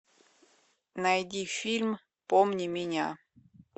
найди фильм помни меня